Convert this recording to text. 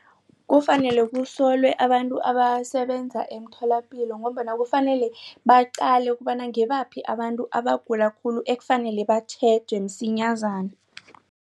Kufanele kusolwe abantu abasebenza emtholapilo ngombana kufanele baqale ukobana ngibaphi abantu abagula khulu ekufanele batjhejwe msinyazana.